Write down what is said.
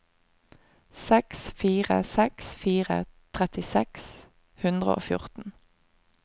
seks fire seks fire tretti seks hundre og fjorten